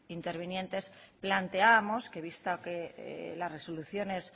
intervinientes planteábamos que vista que las resoluciones